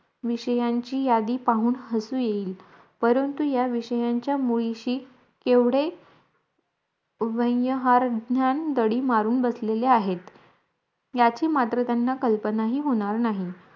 विषयांची यादी पाहून हसू येईल परंतु या विषयांच्या मुळीशी एवढे व्यवहारज्ञान दडी मारून बसलेलं आहेत याची मात्र त्यांना कल्पनाही होणार नाही